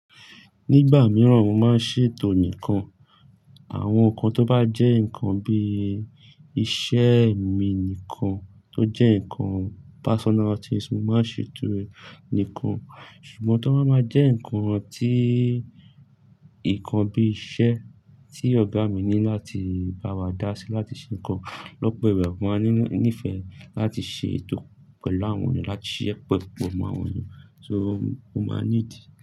Nígbà mìíràn mo máa ń ṣètò nìkan àwọn nǹkan tó bá jẹ́ nǹkan bí i iṣẹ́ mi nìkan tó jẹ́ nǹkan personalties mo máa ń ṣètò rẹ̀ nìkan. Ṣùgbọ́n tó bá máa jẹ́ nǹkan tí, nǹkan bí iṣẹ́ tí ọ̀gá mi ní láti bá wa dá sí láti ṣe nǹkan lọ́pọ̀ ìgbà mo máa nífẹ̀ẹ́ láti ṣètò pẹ̀lú àwọn ènìyàn, láti ṣísẹ́ pa pọ̀ mọ́ àwọn ènìyàn. So mo máa need.